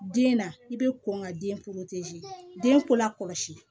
Den na i bɛ kɔn ka den den ko la kɔlɔsi